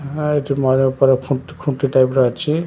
ଏଠି ମୟୂର ଫୟୁର ଖୁଣ୍ଟି ଟାଇପ ର ଅଛି ।